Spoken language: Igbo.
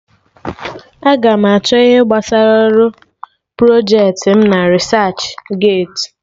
Aga m achọ ihe gbasara ọrụ projecti m na Risach geeti